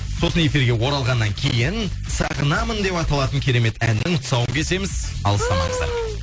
сосын эфирге оралғаннан кейін сағынамын деп аталатын керемет әннің тұсауын кесеміз алыстамаңыздар